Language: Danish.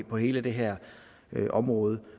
på hele det her område